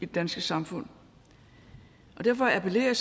danske samfund derfor appellerer